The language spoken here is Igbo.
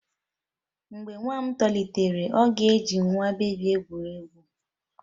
Mgbe nwa m tolitere, ọ ga-eji nwa bebi egwuri egwu.